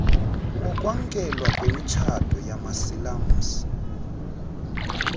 wokwamkelwa kwemitshato yamasilamsi